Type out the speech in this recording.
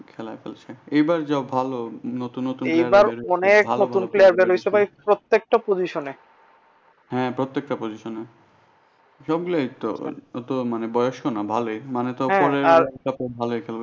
খেলা খেলছে এইবার যাক ভালো নতুন নতুন হ্যাঁ প্রত্যেকটা position এ সবগুলোই তো অত মানে বয়স্ক না ভালো মানে